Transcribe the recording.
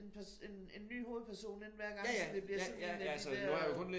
En en en ny hovedperson ind hver gang så det bliver sådan en af de der